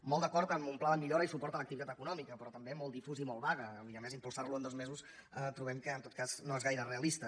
molt d’acord amb un pla de millora i suport a l’activitat econòmica però també molt difús i molt vague i a més impulsar lo en dos mesos trobem que en tot cas no és gaire realista